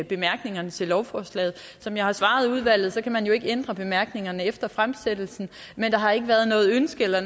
bemærkningerne til lovforslaget som jeg har svaret i udvalget kan man jo ikke ændre bemærkningerne efter fremsættelsen men der har ikke været noget ønske eller